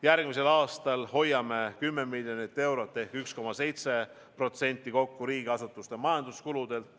Järgmisel aastal hoiame 10 miljonit eurot ehk 1,7% kokku riigiasutuste majanduskulusid.